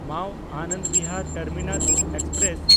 ᱢᱟᱣ-ᱟᱱᱚᱱᱫ Bihar terminal express